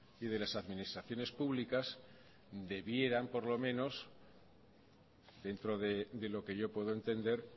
y de las administraciones públicas debieran por lo menos dentro de lo que yo puedo entender